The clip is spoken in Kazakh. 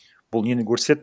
бұл нені көрсетеді